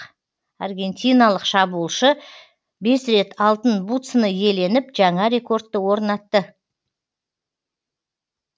аргентикалық шабуылшы бес рет алтын бутсыны иеленіп жаңа рекордты орнатты